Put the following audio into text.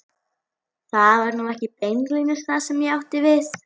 Það var nú ekki beinlínis það sem ég átti við.